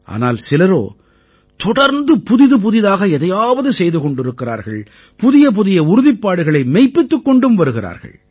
ஆனால் சிலரோ தொடர்ந்து புதிதுபுதிதாக எதையாவது செய்து கொண்டிருக்கிறார்கள் புதியபுதிய உறுதிப்பாடுகளை மெய்ப்பித்துக் கொண்டு வருகிறார்கள்